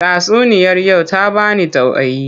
Tatsuniyar yau ta ba ni tauaayi.